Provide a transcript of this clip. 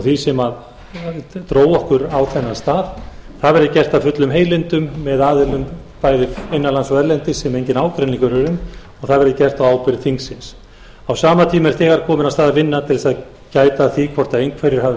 því sem dró okkur á þennan stað það verði gert af fullum heilindum með aðilum bæði innanlands og erlendis sem enginn ágreiningur er um og það verði gert á ábyrgð þingsins á sama tíma er þegar komin af stað vinna til þess að gæta að því hvort einhverjir hafi